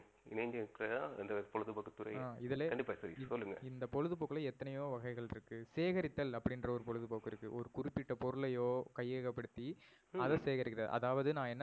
இணைந்து இருக்குறதுதான் அந்த பொழுதுபோக்குத்துறை அஹ் இதுல கண்டிப்பா சதீஷ் சொல்லுங்க இந்த பொழுதுபோக்குலையே எத்தனையோ வகைகள் இருக்கு. சேகரித்தல் அப்டினுற ஒரு பொழுதுபோக்கு இருக்கு. ஒரு குறுப்பிட்ட பொருளையோ கையகபடுத்தி அத சேகரிக்குறது. அதாவது நா என்ன